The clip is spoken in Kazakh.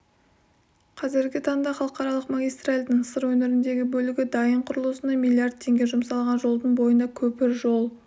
қазіргі таңда халықаралық магистральдың сыр өңіріндегі бөлігі дайын құрылысына миллиард теңге жұмсалған жолдың бойында көпір жол